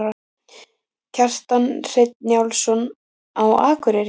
Kjartan Hreinn Njálsson: Á Akureyri?